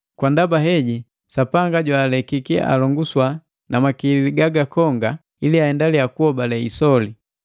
Kwa ndaba heji Sapanga jwaalekiki alonguswa na makili gaga konga ili aendilia kuhobale isoli.